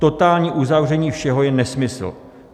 Totální uzavření všeho je nesmysl.